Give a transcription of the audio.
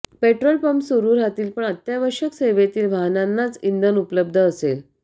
petrol pump सुरू राहतील पण अत्यावश्यक सेवेतील वाहनांनाच इंधन उपलब्ध असेल